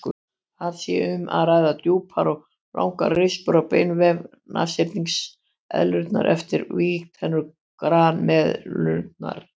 Þar sé um að ræða djúpar og langar rispur á beinvef nashyrningseðlunnar eftir vígtennur grameðlunnar.